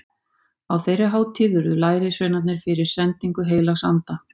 Á þeirri hátíð urðu lærisveinarnir fyrir sendingu heilags anda.